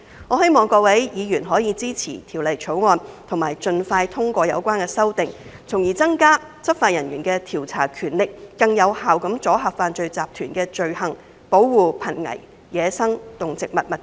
我希望各位議員可以支持《條例草案》，盡快通過有關的修訂，從而增加執法人員的調查權力，更有效地阻嚇犯罪集團的罪行，保護瀕危野生動植物物種。